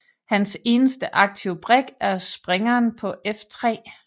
Hans eneste aktive brik er springeren på f3